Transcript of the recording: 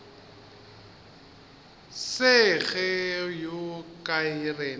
se go ye kae rena